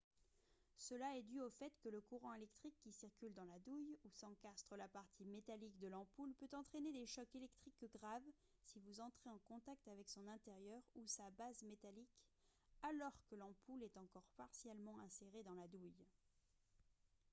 cela est dû au fait que le courant électrique qui circule dans la douille où s'encastre la partie métallique de l'ampoule peut entraîner des chocs électriques graves si vous entrez en contact avec son intérieur ou sa base métallique alors que l'ampoule est encore partiellement insérée dans la douille